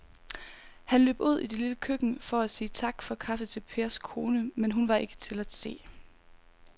Han løb ud i det lille køkken for at sige tak for kaffe til Pers kone, men hun var ikke til at se.